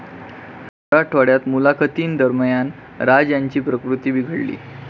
मराठवाड्यात मुलाखतींदरम्यान राज यांची प्रकृती बिघडली